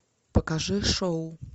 покажи шоу